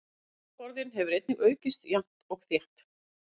Orðaforðinn hefur einnig aukist jafnt og þétt.